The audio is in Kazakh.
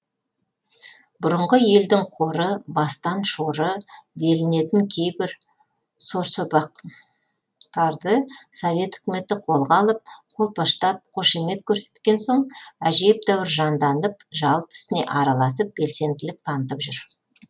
бұрынғы елдің қоры бастан шоры делінетін кейбір сорсопақтарды совет өкіметі қолға алып қолпаштап қошамет көрсеткен соң әжептәуір жанданып жалпы ісіне араласып белсенділік танытып жүрді